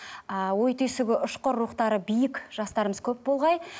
ааа ой түйсігі ұшқыр рухтары биік жастарымыз көп болғай